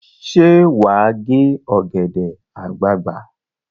Ṣé wà á gé ọ̀gẹ̀dẹ̀ àgbagbà?